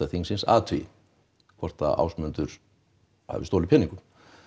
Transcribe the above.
þingsins athugi hvort að Ásmundur hafi stolið peningum